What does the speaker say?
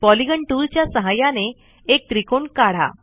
polygon tool च्या सहाय्याने एक त्रिकोण काढा